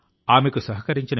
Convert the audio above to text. ఆశ్చర్యపరుస్తుంది కూడాను